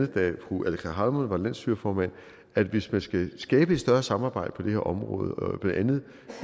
da fru aleqa hammond var landsstyreformand at hvis man skal skabe et større samarbejde på det her område blandt andet